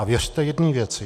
A věřte jedné věci.